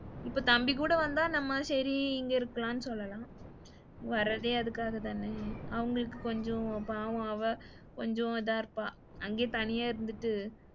இப்ப தம்பி கூட வந்தா நம்ம சரி இங்க இருக்கலாம்னு சொல்லலாம். வரதே அதுக்காகத்தானே, அவங்களுக்கு கொஞ்சம் பாவம் அவ கொஞ்சம் இதா இருப்பா அங்கேயே தனியா இருந்துட்டு,